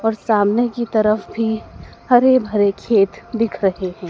और सामने की तरफ भी हरे भरे खेत दिख रहे हैं।